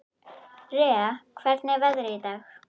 Rea, hvernig er veðrið í dag?